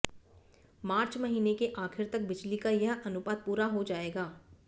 मार्च महीने के आखिर तक बिजली का यह अनुपात पूरा हो जाएगा